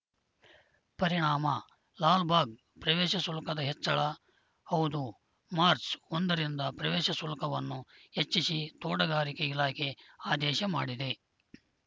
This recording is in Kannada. ಪರಿಣಾಮ ಲಾಲ್‌ಬಾಗ್‌ ಪ್ರವೇಶ ಶುಲ್ಕದ ಹೆಚ್ಚಳ ಹೌದು ಮಾರ್ಚ್ ಒಂದರಿಂದ ಪ್ರವೇಶ ಶುಲ್ಕವನ್ನು ಹೆಚ್ಚಿಸಿ ತೋಟಗಾರಿಕೆ ಇಲಾಖೆ ಆದೇಶ ಮಾಡಿದೆ